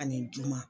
Ani juma